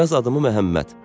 Yaz adımı Məhəmməd.